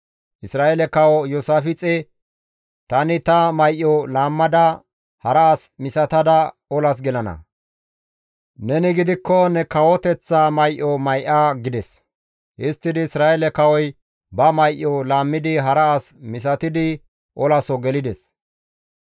Isra7eele kawo Iyoosaafixe, «Tani ta may7o laammada hara as misatada olas gelana; neni gidikko ne kawo kawoteththa may7o may7a» gides; histtidi Isra7eele kawoy ba may7o laammidi hara as misatidi olaso gelides.